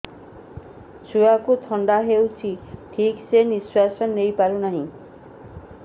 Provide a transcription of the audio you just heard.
ଛୁଆକୁ ଥଣ୍ଡା ହେଇଛି ଠିକ ସେ ନିଶ୍ୱାସ ନେଇ ପାରୁ ନାହିଁ